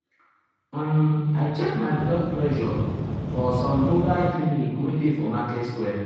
um i check my blood my blood pressure for one mobile clinic wey dey for market square.